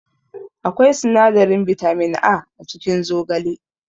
Akwai sinadarin bitamin A a cikin zogale